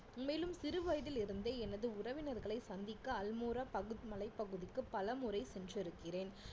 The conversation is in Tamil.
மேலும் சிறு வயதில் இருந்தே எனது உறவினர்களை சந்திக்க அல்மோரா பகுத்மலை பகுதிக்கு பலமுறை சென்றிருக்கிறேன்